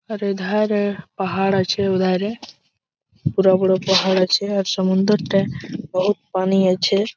এধারে-এ পাহাড় আছে ওধারে বড়ো বড়ো পাহাড় আছে আর সমুন্দরটায় বহুত পানি আছে।